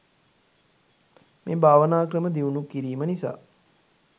මේ භාවනා ක්‍රම දියුණු කිරීම නිසා